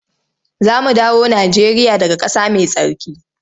Za mu dawo Najeriya daga ƙasa mai tsarki.